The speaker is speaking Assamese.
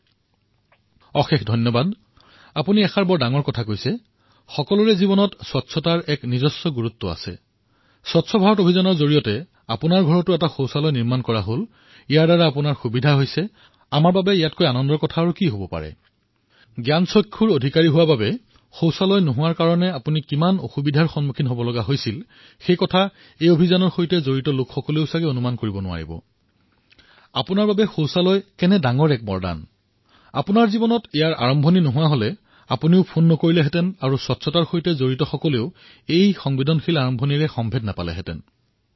বহুত বহুত ধন্যবাদ আপুনি এক ডাঙৰ কথা কলে সকলোৰে জীৱনত স্বচ্ছতাৰ এক বিশেষ স্থান আছে আৰু স্বচ্ছ ভাৰত অভিযানৰ অধীনত আপোনাৰ ঘৰত শৌচালয় নিৰ্মাণ হল আৰু তাৰ দ্বাৰা যেতিয়া আপোনাৰ সুবিধা হৈ আছে আমাৰ বাবে ইয়াতকৈ সুখৰ কথা আৰু কি হব পাৰে আৰু বোধহয় এই অভিযানৰ সৈতে জড়িত লোকৰো এই ধাৰণা নহব যে এক প্ৰজ্ঞাচক্ষুৰ দৰে আপুনি চাব নোৱাৰে কিন্তু শৌচালয় নোহোৱাৰ পূৰ্বে আপুনি কিমান কষ্টেৰে জীৱন নিৰ্বাহ কৰিছিল আৰু শৌচালয় হোৱাৰ পিছত ই আপোনাৰ বাবে এক বৰদান হৈ পৰিল বোধহয় আপুনিও এই পদক্ষেপৰ সৈতে জড়িত হৈ ফোন নকৰিলে স্বচ্ছতা অভিযানৰ সৈতে জড়িত লোকৰ মনলৈ এনে সংবেদনশীল পদক্ষেপ নাহিলহেঁতেন